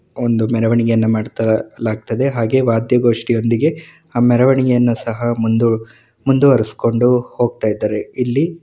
ಒಂದು ಮೆರವಣಿಗೆ ಮಾಡ್ತಾ ಲಾಗ್ತದೆ ಹಾಗೆ ವಾದ್ಯಗೋಷ್ಠಿಯೊಂದಿಗೆ ಮೆರವಣಿಗೆ ಸಹ ಒಂದು ಮುಂದು ಮುಂದುವರಿಸಿಕೊಂಡು ಹೋಗ್ತಾ ಇದ್ದಾರೆ ಇಲ್ಲಿ --